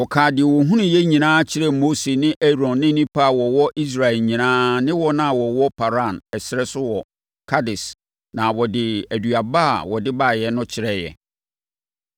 Wɔkaa deɛ wɔkɔhunuiɛ nyinaa kyerɛɛ Mose ne Aaron ne nnipa a wɔwɔ Israel nyinaa ne wɔn a wɔwɔ Paran ɛserɛ so wɔ Kades na wɔde aduaba a wɔde baeɛ no kyerɛeɛ.